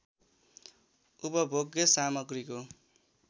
उपभोग्य सामग्रीको